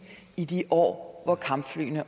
i de år hvor kampflyene